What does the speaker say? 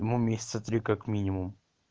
ну месяца три как минимум